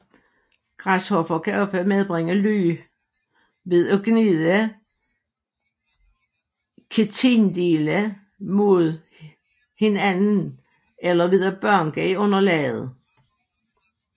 Græshopper kan ofte frembringe lyde ved at gnide kitindele mod hinanden eller ved at banke i underlaget